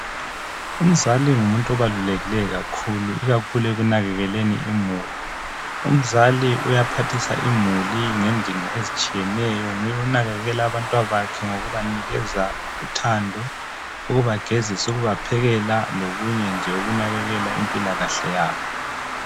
Umzali ngumuntu obalulekileyo kakhulu ikakhulu ekunakekeleni imuli. Umzali uyaphathisa imuli ngendingo ezitshiyeneyo nguye onakekela abantwabakhe ngokubanikeza uthando, ukubagezisa, ukubaphekela lokunye nje okunakekela impilakahle yabo.